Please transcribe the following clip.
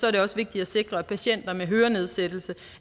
er det også vigtigt at sikre at patienter med hørenedsættelse